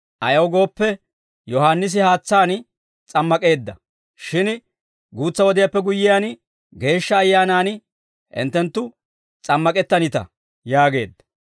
Ayaw gooppe, Yohaannisi haatsaan s'ammak'eedda; shin guutsa wodiyaappe guyyiyaan, Geeshsha Ayyaanaan hinttenttu s'ammak'ettanita» yaageedda.